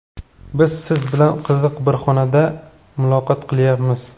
Biz siz bilan qiziq bir xonada muloqot qilyapmiz.